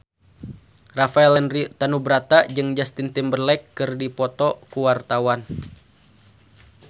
Rafael Landry Tanubrata jeung Justin Timberlake keur dipoto ku wartawan